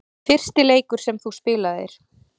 Fyrsti leikur sem þú spilaðir?